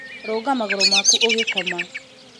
rũnga magũrũ maku ũgĩkoma